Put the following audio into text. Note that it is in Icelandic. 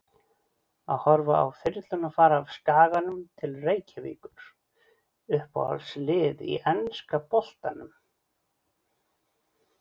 Að horfa á þyrluna fara af Skaganum til Reykjavíkur Uppáhalds lið í enska boltanum?